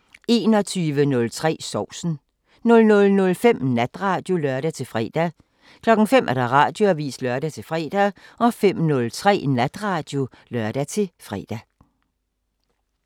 21:03: Sovsen 00:05: Natradio (lør-fre) 05:00: Radioavisen (lør-fre) 05:03: Natradio (lør-fre)